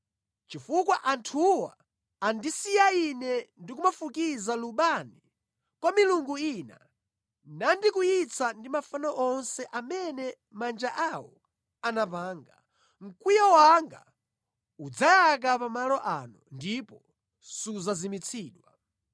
Chifukwa anthuwo andisiya Ine ndi kumafukiza lubani kwa milungu ina nandikwiyitsa ndi mafano onse amene manja awo anapanga, mkwiyo wanga udzayaka pa malo ano ndipo sudzazimitsidwa.’